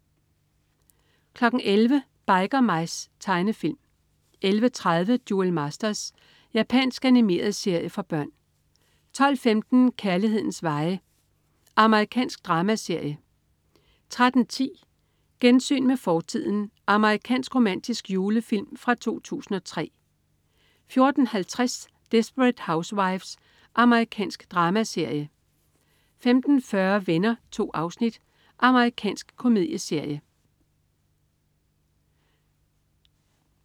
11.00 Biker Mice. Tegnefilm 11.30 Duel Masters. Japansk animeret serie for børn 12.15 Kærlighedens veje. Amerikansk dramaserie 13.10 Gensyn med fortiden. Amerikansk romantisk julefilm fra 2003 14.50 Desperate Housewives. Amerikansk dramaserie 15.40 Venner. 2 afsnit. Amerikansk komedieserie